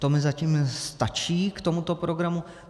To mi zatím stačí k tomuto programu.